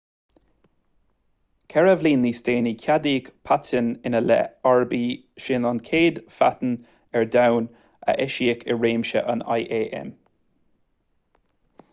ceithre bliana níos déanaí ceadaíodh paitinn ina leith arb í sin an chéad phaitinn ar domhan a eisíodh i réimse an íam